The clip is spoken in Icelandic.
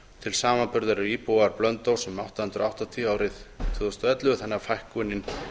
til samanburðar voru íbúar blönduóss um átta hundruð og áttatíu árið tvö þúsund og ellefu þannig að fækkunin